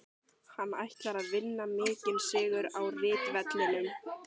Hann ætlar að vinna mikinn sigur á ritvellinum.